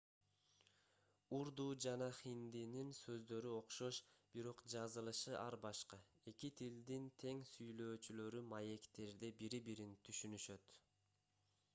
урду жана хиндинин сөздөрү окшош бирок жазылышы ар башка эки тилдин тең сүйлөөчүлөрү маектерде бири-бирин түшүнүшөт